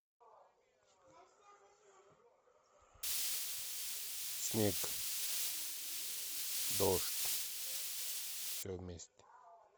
снег дождь все вместе